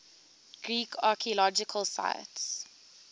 greek archaeological sites